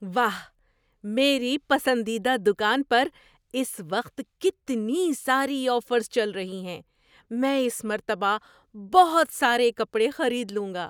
واہ! میری پسندیدہ دکان پر اس وقت کتنی ساری آفرز چل رہی ہیں۔ میں اس مرتبہ بہت سارے کپڑے خرید لوں گا۔